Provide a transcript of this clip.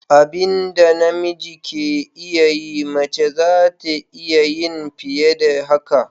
Abinda na miji ke iya yi, mace zata iya yin fiye da haka.